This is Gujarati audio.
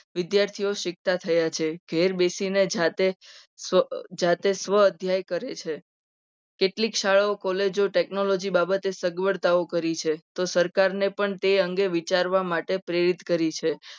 વિદ્યાર્થીઓ શીખતા થયા છે. ઘેર બેસીને જાતે સ્વ અધ્યાય કરે છે. કેટલીક શાળાઓ કોલેજો technology બાબતે સગવડતાઓ કરી છે. તો સરકારને પણ તે અંગે વિચારવા માટે પ્રેરિત કરી છે.